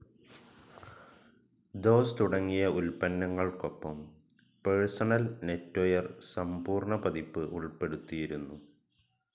Dose തുടങ്ങിയ ഉല്പന്നങ്ങൾക്കൊപ്പം personal NetWare സംപൂർണപതിപ്പ് ഉൾപ്പെടുത്തിയിരുന്നു.